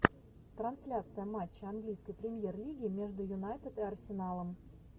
трансляция матча английской премьер лиги между юнайтед и арсеналом